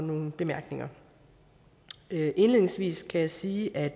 og nogle bemærkninger indledningsvis kan jeg sige at